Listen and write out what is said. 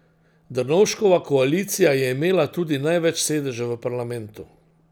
Drnovškova koalicija je imela tudi največ sedežev v parlamentu.